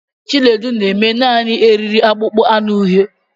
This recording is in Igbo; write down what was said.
Chinedu na-eme Naanị eriri akpụkpọ anụ uhie.